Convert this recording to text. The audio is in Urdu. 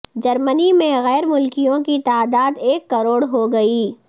جرمنی میں غیر ملکیوں کی تعداد ایک کروڑ ہوگئی